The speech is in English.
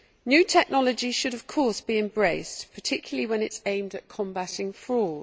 New technology should of course be embraced, particularly when it is aimed at combating fraud.